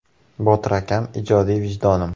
Botir akam ijodiy vijdonim.